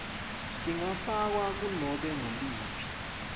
tingafakwa kunobe nguliphi